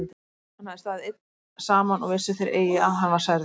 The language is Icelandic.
Hann hafði staðið einn saman og vissu þeir eigi að hann var særður.